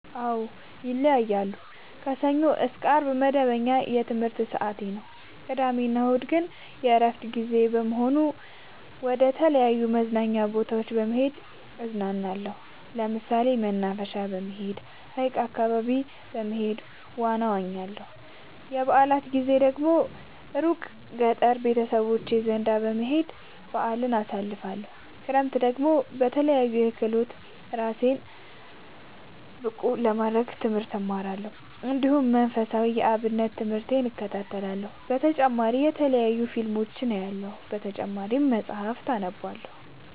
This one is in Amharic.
አዎ ይለያያለሉ። ከሰኞ እስከ አርብ መደበኛ የትምህርት ሰዓቴ ነው። ቅዳሜ እና እሁድ ግን የእረፍት ጊዜ በመሆኑ መደተለያዩ መዝናኛ ቦታዎች በመሄድ እዝናናለሁ። ለምሳሌ መናፈሻ በመሄድ። ሀይቅ አካባቢ በመሄድ ዋና እዋኛለሁ። የበአላት ጊዜ ደግሞ እሩቅ ገጠር ቤተሰቦቼ ዘንዳ በመሄድ በአልን አሳልፍለሁ። ክረምትን ደግሞ በለያዩ ክህሎቶች እራሴን ብቀሐ ለማድረግ ትምህርት እማራለሁ። እንዲሁ መንፈሳዊ የአብነት ትምህርቴን እከታተላለሁ። በተጨማሪ የተለያዩ ፊልሞችን አያለሁ። በተጨማሪም መፀሀፍትን አነባለሁ።